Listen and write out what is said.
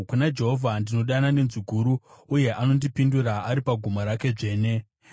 Kuna Jehovha ndinodana nenzwi guru, uye anondipindura ari pagomo rake dzvene. Sera